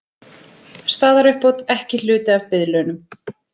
Staðaruppbót ekki hluti af biðlaunum